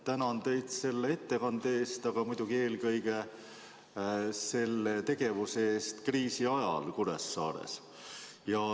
Tänan teid ettekande eest, aga eelkõige muidugi selle eest, mida te tegite kriisi ajal Kuressaares.